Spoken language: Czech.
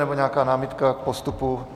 Nebo nějaká námitka k postupu?